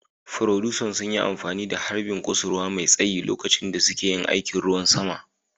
Furodusan sun yi amfani da harbin kusurwa mai tsayi lokacin da suke yin aikin ruwan sama